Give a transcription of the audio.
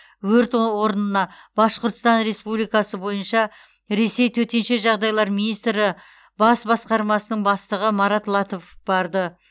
өрт орнына башқұрстан республикасы бойынша ресей төтенше жағдайлар министрі бас басқармасының бастығы марат латыпов барды